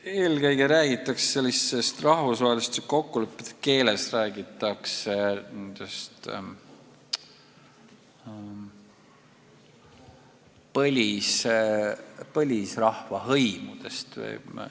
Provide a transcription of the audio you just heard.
Eelkõige räägitakse sellises rahvusvaheliselt kokku lepitud keeles põlisrahva hõimudest.